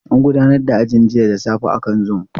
An gudanar da ajin jiya da safe akan zoom.